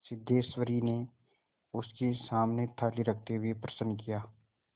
सिद्धेश्वरी ने उसके सामने थाली रखते हुए प्रश्न किया